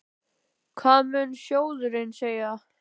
Hvað mun sjóðurinn segja?